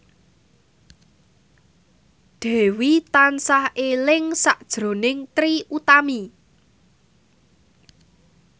Dewi tansah eling sakjroning Trie Utami